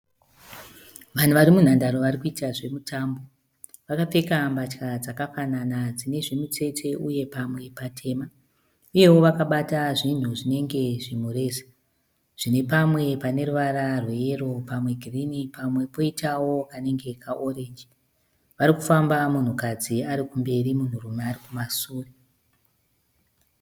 Vanhu varimunhandare varikuita zvemutambo. Vakapfeka mbatya dzakafanana dzine zvimutsetse uye pamwe patema. Uyewo vakabata zvinhu zvinenge zvimureza zvine pamwe paneruvara rweyero, pamwe girinhi, pamwe poitawo kanenge kaorenji. Varikufamba munhukadzi arikumberi munhurume arikumasure.